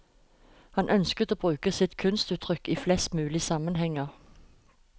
Han ønsker å bruke sitt kunstuttrykk i flest mulig sammenhenger.